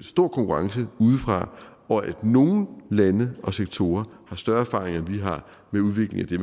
stor konkurrence udefra og at nogle lande og sektorer har større erfaring end vi har med udvikling af det